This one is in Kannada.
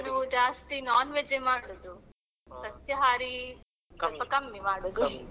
ನಾನು ಜಾಸ್ತಿ non-veg ಏ ಮಾಡೋದು ಸಸ್ಯಹಾರಿ ಸ್ವಲ್ಪ ಕಮ್ಮಿ ಮಾಡೋದು.